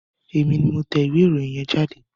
Èmi ni mo tẹ ìwé ìròyìn yẹn jáde.